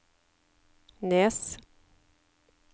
Nes